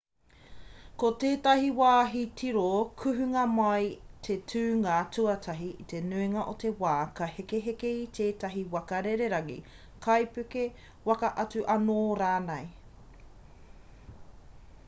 ko tētahi wāhi tiro kuhunga mai te tūnga tuatahi i te nuinga o te wā ka hekeheke i tētahi waka rererangi kaipuke waka atu anō rānei